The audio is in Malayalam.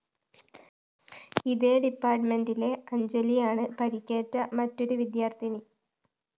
ഇതേ ഡിപ്പാര്‍ട്ട്‌മെന്റിലെ അഞ്ജലിയാണ് പരുക്കേറ്റ മറ്റൊരു വിദ്യാര്‍ത്ഥിനി